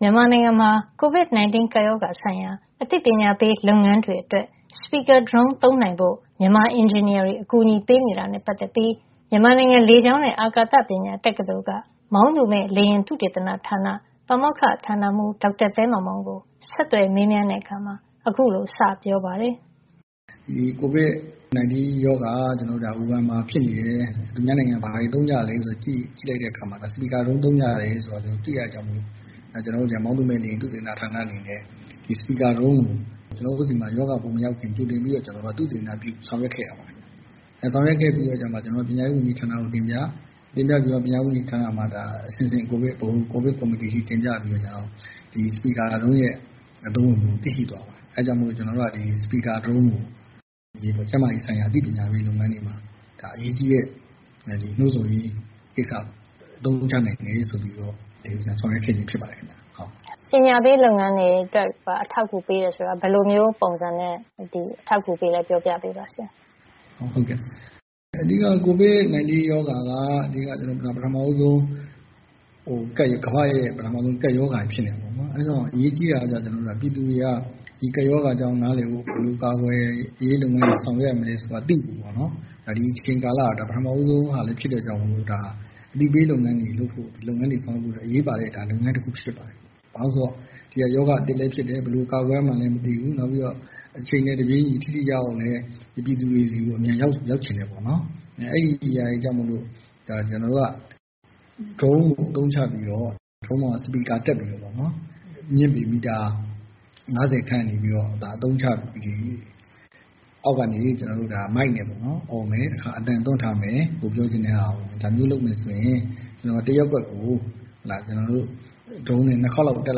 မြန်မာနိုင်ငံမှာ COVID-19 ကပ်ရောဂါဆိုင်ရာ အသိပညာပေး လုပ်ငန်းတွေအတွက် Speaker drone သုံးနိုင်ဖို့ မြန်မာအင်ဂျင်နီယာတွေ အကူအညီပေးနေတာနဲ့ ပတ်သက်ပြီး မြန်မာနိုင်ငံလေကြောင်းနဲ့ အာကာသပညာ တက္ကသိုလ် က မောင်းသူမဲ့လေယာဉ် သုတေသနဌာန ပါမောက္ခဌာနမှုး ဒေါက်တာသဲမောင်မောင်ကို ဒေါ်ခင်မျိုးသက် ဆက်သွယ်မေးမြန်းတဲ့ အခါ အခုလို စေပြောပါတယ်။ ဒီ COVID-19 ရောဂါ ဝူဟန်မှာဖြစ်နေတယ်။ သူများနိုင်ငံမှာ ဘာတွေသုံးကြသလဲဆိုတာ ကြည့်လိုက်တဲ့အခါမှာ Speaker drone သုံးကြတယ်ဆိုတာ တွေ့ရတဲ့အတွက် ကျနော်တို့ မောင်းသူမဲ့လေယာဉ် သုတေသနဌာနအနေနဲ့ Speaker drone ကို ကျနော်တို့ဆီမှာ ရောဂါမရောက်ခင် ကြိုတင်ပြီးတော့ ကျနော်တို့ သုတေသနပြုဆောင်ရွက်ခဲ့ပါတယ်။ ဆောင်ရွက်ခဲ့ပြီးတဲ့အခါမှာ ကျနော်တို့က ပညာရေးဝန်ကြီးဌာနကိုတင်ပြ၊ တင်ပြပြီးတော့ ပညာရေးဝန်ကြီးဌာနမှာ အဆင့်ဆင့် ဗဟို ကိုဗစ်ကော်မတီအထိတင်ပြပြီးတော့ ဒီ Speaker Drone ရဲ့ အသုံးဝင်မှုကို သိရှိသွားပါတယ်။ အဲဒါကြောင့် Speaker drone ကို ကျန်းမာရေးဆိုင်ရာအသိပညာပေးလုပ်ငန်းတွေမှာ အရေးကြီးတဲ့ နှိုးဆော်ရေး ကိစ္စမှာ အသုံးချနိုင်မယ်ဆိုပြီးတော့ ဆောင်ရွက်ခဲ့ချင်းဖြစ်ပါတယ်။ အသိပညာပေးလုပ်ငန်းတွေအတွက် အထောက်အကူပေးတယ်ဆိုတာ ဘယ်လိုမျိုးပုံစံနဲ့ အထောက်အကူပေးသလဲ ပြောပြပေးပါဆရာ။ ဟုတ်ကဲ့ အဓိက COVID-19 ရောဂါ က ပထမဦးဆုံး ကမ္ဘာ့ကပ်ရောဂါဖြစ်နေတာပေါ့နော် ။ အဲဒီတော့ အရေးကြီးတာကတော့ ကျနော်တို့ ပြည်သူတွေက ဒီကပ်ရောဂါအကြောင်းနားလည်ဖို့ ဘယ်လိုကာကွယ်ရေးလုပ်ငန်းတွေ ဆောင်ရွက်ရမလဲဆိုတာ သိဖို့ပေါ့နော် ဒီအချိန်ကာလဟာ ဒါပထမဦးဆုံးလည်းဖြစ်တဲ့အတွက် ဒါဟာ အသိပေးလုပ်ငန်းတွေလုပ်ဖို့ ဒီလုပ်ငန်းတွေ ဆောင်ရွက်ဖို့ အရေးပါတဲ့ လုပ်ငန်းတခုဖြစ်ပါတယ်။ ဘာဖြစ်လို့လဲဆိုတော့ ဒါက ရောဂါအသစ်လည်းဖြစ်တယ်။ ဘယ်လိုကာကွယ်ရမှန်းလည်းမသိဘူး နောက်ပြီးတော့ အချိန်နဲ့ တပြေးညီ ထိထိရောက်ရောက်ပြည်သူတွေဆီကို အမြန်ရောက်ချင်တယ်ပေါ့နော် အဲဒါတွေကြောင့်မို့ ဒါ ကျနော်တို့က Drone ကို အသုံးချပြီးတော့ Drone အပေါ်မှာ Speaker တပ်ပြီးတော့ အမြင့်ပေမီတာ ၅၀ ခန့်ကနေပြီးတော့ အသုံးချပြီး အောက်ကနေ မိုက်နဲ့ အော်မယ်၊ တခါ အသံသွင်းထားမယ် ကိုယ်ပြောချင်တာကို ။ ဒါမျိုးလုပ်မယ်ဆိုရင် တရပ်ကွက်ကို Drone နဲ့ ၂ ခါလောက်တက်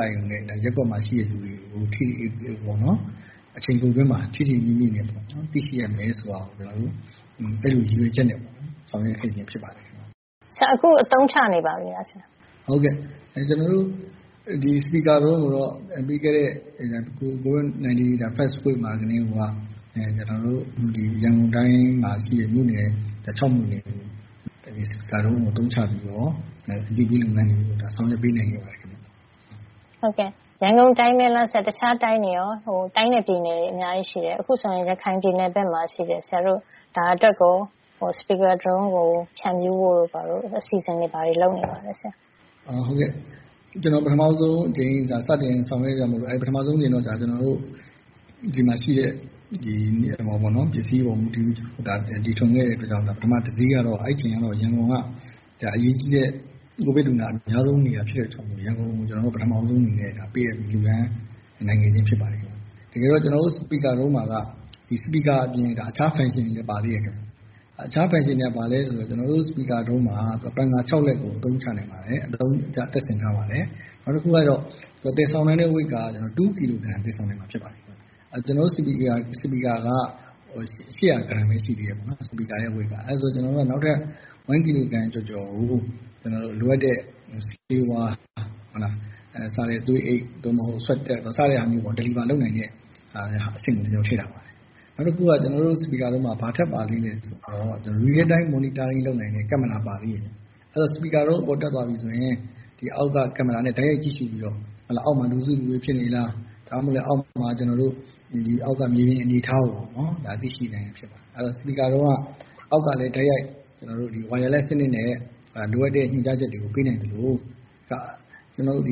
လိုက်ရင် ရပ်ကွက်မှာရှိတဲ့လူတွေကို အချိန်တိုအတွင်းမှာ ထိထိမိမိနဲ့ သိရှိရမယ်ဆိုတာ ကျနော်တို့ အဲလိုရည်ရွယ်ချက်နဲ့ပေါ့နော် ဆောင်ရွက်ခဲ့ခြင်းဖြစ်ပါတယ်။ ဆိုတော့ ဆရာ အခုအသုံးချနေပါပြီလား။ ဟုတ်ကဲ့ ကျနော်တို့ Speaker drone ကိုတော့ ပြီးခဲ့တဲ့ covid စတဲ့ first week မှာကတည်းကိုက ကျနော်တို့ ရန်ကုန်တိုင်းမှာ ရှိတဲ့ မြို့နယ် ၆ မြို့နယ်ကို Speaker drone ကိုအသုံးချပြီးတော့ အသိပေးလုပ်ငန်းတွေ ဆောင်ရွက်ပေးနိုင်ခဲ့ပါတယ်ခင်ဗျ။ ဟုတ်ကဲ့ ရန်ကုန်တိုင်းပဲလားဆရာ တခြားတိုင်းနဲ့ ပြည်နယ်တွေ အများကြီးရှိတယ် ။ အခုဆိုရင် ရခိုင်ပြည်နယ်ဘက်မှာ ရှိတယ် ဆရာတို့ ဒါအတွက်ကို Speaker drone ကို ဖြန့်ဖြူးဖို့ အစီအစဉ်တွေ ဘာတွေ လုပ်နေပါသလဲဆရာ။ ဟုတ်ကဲ့ ကျနော်တို့ ပထမဦးဆုံးအကြိမ် စတင်ဆောင်ရွက်တာမို့လို့ ပထမဦးဆုံးအကြိမ်တော့ ဒီမှာရှိတဲ့ ပစ္စည်းအပေါ်မူတည်ပြီးတော့ တီထွင်ခဲ့တဲ့အတွက်ကြောင့် ပထမဦးဆုံး တစီးကတော့ အဲဒီအချိန်က ရန်ကုန်က အရေးကြီးတဲ့ COVID လူနာအများဆုံးနေတာဖြစ်တဲ့ အတွက်ကြောင့်မို့ ရန်ကုန်ကို ပထမဦးဆုံးအနေနဲ့ ပေးအပ်လှူဒန်းနိုင်ခဲ့ချင်းဖြစ်ပါတယ်။ တကယ်တော့ ကျနော်တို့ speaker drone မှာတော့ speaker အပြင် အခြား function တွေလည်း ပါတယ်ခင်ဗျ။ အခြား functionတွေက ဘာလဲဆိုတော့ ကျနော်တို့ speaker drone မှာ ပန်ကာ ၆ လက်ကို အသုံးချနိုင်တယ် ၊ တပ်ဆင်ထားပါတယ်။ နောက်တခုကတော့ သယ်ဆောင်နိုင်တဲ့ Weight ကတော့ ၂ ကီလိုဂရမ် သယ်ဆောင်နိုင်မှာ ဖြစ်ပါတယ်။ ကျနော်တို့ speaker က ၈၀၀ ဂရမ်ပဲ ရှိသေးတယ်ပေါ့နော် speaker weight က။ နောက်ထပ် ၁ ကီလိုဂရမ်ကျော်ကျော်ကို လိုအပ်တဲ့ ဆေးဝါး၊ သွေးအိတ် ၊ swab test စတာမျိုး Delivery လုပ်နိုင်တဲ့ အဆင့်ကို ကျနော်တို့ ထည့်ထားပါတယ်။ နောက်တခုကတော့ ကျနော်တို့ speaker drone မှာ ဘာထပ်ပါသေးသလဲဆိုတော့ real time monitoring လုပ်နိုင်တဲ့ ကင်မရာပါသေးတယ်ခင်ဗျ ။ အဲဒီတော့ speaker drone အပေါ်တက်သွားပြီးဆိုရင် ဒီအောက်က ကင်မရာနဲ့ တိုက်ရိုက်ကြည့်ရှုပြီးတော့ အောက်မှာ လူစုလူဝေးဖြစ်နေလား၊ ဒါမှမဟုတ်လည်းအောက်မှာ မြေပြင်အနေအထားကို သိရှိနိုင်တာဖြစ်ပါတယ်။ အဲဒီတော့ speaker drone က အောက်ကလည်း တိုက်ရိုက် ကျနော်တို့ wireless စနစ်နဲ့ လိုအပ်တဲ့ ညွှန်ကြားချက်တွေကို ပေးနိုင်သလို ကျနော်တို့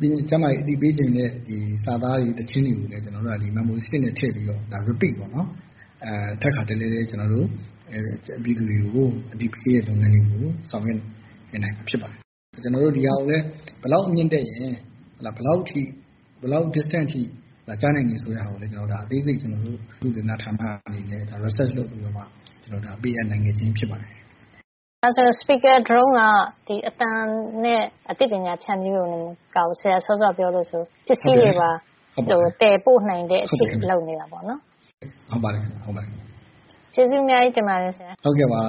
ကျန်းမာရေးအသိပေးချင်တဲ့ စာသားတွေ သီချင်းတွေကိုလည်း ကျနော်တို့က Memory stick နဲ့ထည့်ပြီးတော့ repeat ထပ်ခါတလဲလဲ ကျနော်တို့ ပြည်သူတွေကို အသိပေးတဲ့ လုပ်ငန်းတွေကို ဆောင်ရွက်နိုင်မှာ ဖြစ်ပါတယ်။ ကျနော်တို့ ဒီဟာကိုလည်း ဘယ်လောက်အမြင့်တက်ရင် ဘယ်လောက် distance အထိကြားနိုင်တယ်ဆိုတာကိုလည်း အသေးစိတ် ကျနော်တို့ သုတေသန ဌာနကနေ research လုပ်ပြီးတော့ ပေးအပ်နိုင်ခဲ့ခြင်း ဖြစ်ပါတယ်။ ဒါဆိုရင် speaker drone က အသံနဲ့ အသိပညာဖြန့်ဖြူးတာတင်မကဘူး စောစောက ဆရာပြောသလို ပစ္စည်းတွေပါ သယ်ပို့နိုင်တဲ့အထိ လုပ်နိုင်တာပေါ့နော်။ ဟုတ်ပါတယ်ခင်ဗျ။ ကျေးဇူးအများကြီးတင်ပါတယ် ဆရာ။ ဟုတ်ကဲ့ပါ